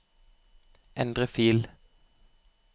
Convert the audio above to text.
endre fil